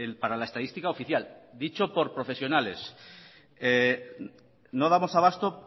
para la estadística oficial dicho por profesionales no damos abasto